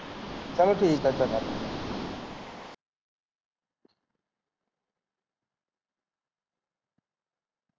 ਚਲੋ ਠੀਕ ਆ ਚੰਗਾ।